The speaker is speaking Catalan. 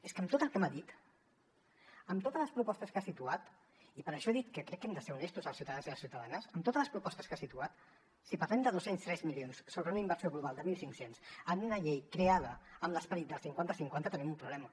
és que amb tot el que m’ha dit amb totes les propostes que ha situat i per això he dit que crec que hem de ser honestos amb els ciutadans i les ciutadanes si parlem de dos cents i tres milions sobre una inversió global de mil cinc cents en una llei creada amb l’esperit del cinquanta cinquanta tenim un problema